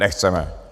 Nechceme.